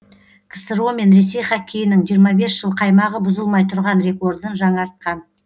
ксро мен ресей хоккейінің жиырма бес жыл қаймағы бұзылмай тұрған рекордын жаңартқан